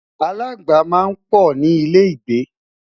alaagba má n pò ní ilẹ igbe